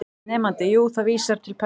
Nemandi: Jú, það vísar til persóna